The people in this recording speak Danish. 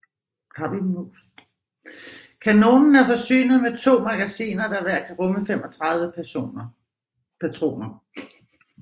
Kanonen er forsynet med 2 magasiner der hver kan rumme 35 patroner